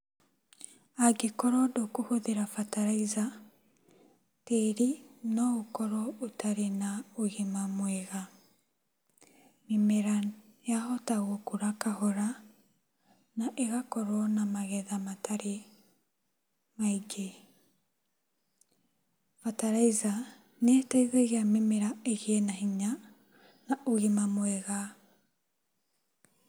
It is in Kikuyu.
Angĩkorwo ndũkũhũthĩra fertilizer, tĩĩri noũkorwo ũtarĩ na ũgima mwega. Mĩmera yahota gũkũra kahara na ĩgakorwo na magetha matarĩ maingĩ. Fertilizer nĩĩtũmaga mĩmera ĩgĩe na hinya na ũgima mwega.